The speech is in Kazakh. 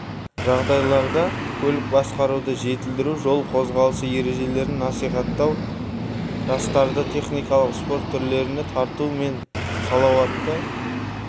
жағдайларда көлік басқаруды жетілдіру жол қозғалысы ережелерін наисаттау жастарды техникалық спорт түрлеріне тарту мен салауатты